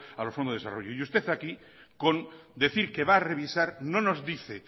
a los fondos de desarrollo y usted aquí con decir que va a revisar no nos dice